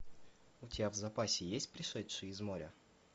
у тебя в запасе есть пришедшие из моря